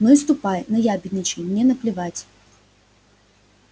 ну и ступай наябедничай мне наплевать